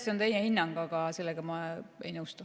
See on teie hinnang ja mina sellega ei nõustu.